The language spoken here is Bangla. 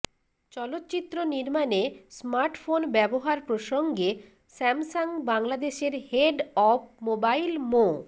চলচ্চিত্র নির্মাণে স্মার্টফোন ব্যবহার প্রসঙ্গে স্যামসাং বাংলাদেশের হেড অব মোবাইল মো